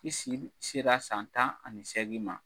I si sera san tan ani seagin ma.